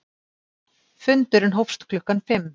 Fundurinn hófst klukkan fimm